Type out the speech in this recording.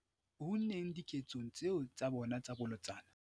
unneng diketsong tseo tsa bona tsa bolotsana.